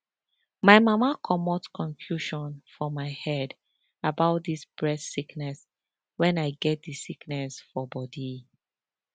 my mama comot confusion for my head about dis breast sickness wen i get di sickness for bodi